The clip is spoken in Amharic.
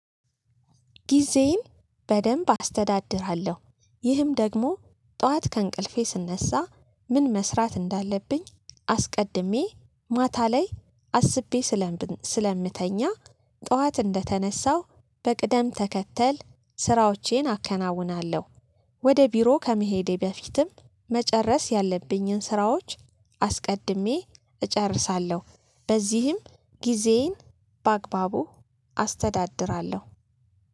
ጊዜዬን በደንብ አስተዳድራለሁ። ይህም ደግሞ ጠዋት ከእንቅልፌ ስነሳ ምን መስራት እንዳለብኝ አስቀድሜ ማታ ላይ አስቤ ስለምነሳ ስለምተኛ ጠዋት እንደተነሳው በቅደም ተከተል ስራዎቼን አከናውናለሁ። ወደ ቢሮ ከመሄዴ በፊትም መጨረስ ያለብኝን ስራዎች አስቀድሜ እጨርሳለሁ። በዚህም ጊዜዬን በአግባቡ አስተዳድራለሁ